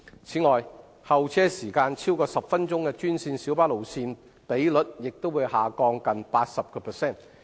此外，候車時間超過10分鐘的專線小巴路線比率也會下降近 80%。